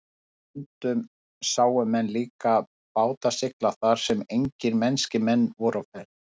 Og stundum sáu menn líka báta sigla þar sem engir mennskir menn voru á ferð.